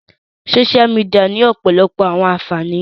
Sósia mìdìya ni ọpọlọpọ awọn anfani